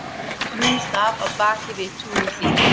Hún þarf af baki við túnhliðið.